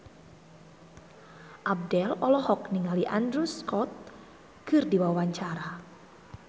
Abdel olohok ningali Andrew Scott keur diwawancara